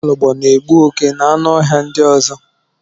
Nwaọlọgbọ na-egbu oke na anụ ọhịa ndị ọzọ